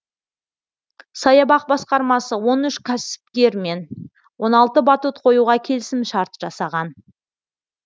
саябақ басқармасы он үш кәсіпкермен он алты батут қоюға келісімшарт жасаған